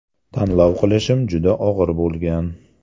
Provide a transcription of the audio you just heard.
Tanlov qilishim juda og‘ir bo‘lgan.